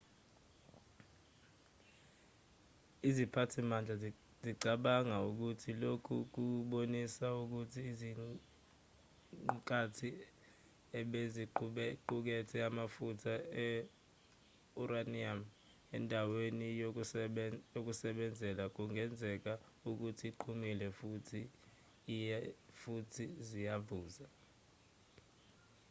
iziphathimandla zicabangela ukuthi lokhu kubonisa ukuthi iziqukathi ebeziqukethe amafutha e-uranium endaweni yokusebenzela kungenzeka ukuthi ziqhumile futhi ziyavuza